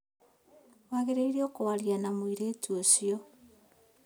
Wagĩrĩirwo kũaria na mũirĩtu ũcio